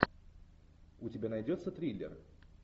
у тебя найдется триллер